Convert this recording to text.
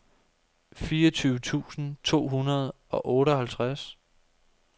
fireogtyve tusind to hundrede og otteoghalvtreds